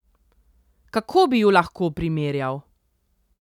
Kako bi ju lahko primerjal?